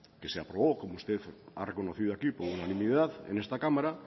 que se aprobó como usted ha reconocido aquí por unanimidad en esta cámara